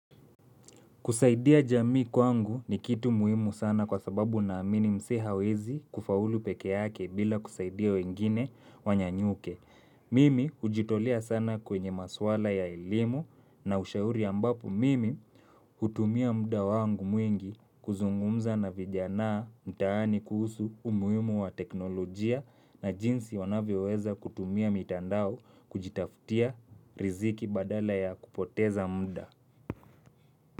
Kusaidia jamii kwangu ni kitu muhimu sana kwa sababu naamini msee hawezi kufaulu pekee yake bila kusaidia wengine wanyanyuke. Mimi hujitolea sana kwenye maswala ya elimu na ushauri ambapo mimi hutumia mda wangu mwingi kuzungumza na vijanaa mtaani kuhusu umuhimu wa teknolojia na jinsi wanavyo weza kutumia mitandao kujitaftia riziki badala ya kupoteza mda.